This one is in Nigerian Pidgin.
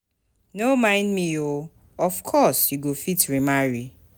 No mind me oo, of course you go fit remarry.